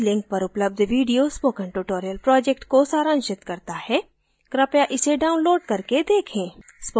इस link पर उपलब्ध video spoken tutorial project को सारांशित करता है कृपया इसे download करके देखें